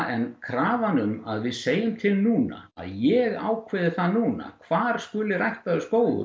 en krafan um að við segjum til núna að ég ákveði það núna hvar verði ræktaður skógur